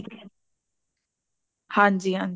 ਹਾਂਜੀ ਹਾਂਜੀ